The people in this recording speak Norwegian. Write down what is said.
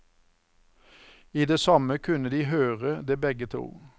I det samme kunne de høre det begge to.